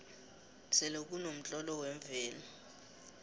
selekunomtlolo wemvelo